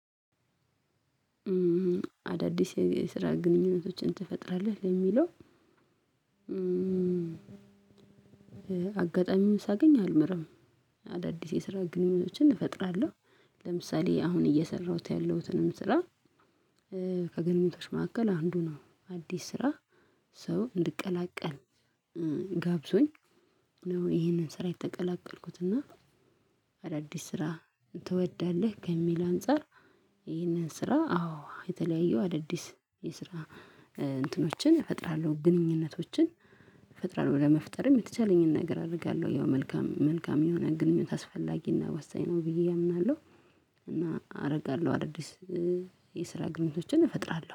አዳዲስ የስራ ግንኙነቶችን ትፈጥራለህ? ለሚለው አጋጣሚውን ሳገኝ አልምርም አዳዲስ የስራ ግንኙነቶችን እፈጥራለሁ። ለምሳሌ አሁን እየሰራሁት ያለሁትንም ስራ ከግልሞቶች መካከል አንዱ ነው አዲስ ስራ ሰው እንድቀላቀል ጋብዞኝ ነው ይሄንን ስራ የተቀላቀልኩት እና አዳዲስ ስራ ትወዳለህ? ከሚል አንፃር ይሄንን ስራ አዎ የተለያየው አዳዲስ የስራ እንትኖችን እፈጥራለሁ ግንኙነቶችን እፈጥራለሁ ለመፍጠርም የተቻለኝን ነገር አደርጋለሁ ያው መልካም መልካም የሆነ ግንኙነት አስፈላጊና ወሳኝ ነው ብዬ አምናለሁ። እና አረጋለሁ አዳዲስ የስራ ግንኙነቶችን እፈጥራለሁ።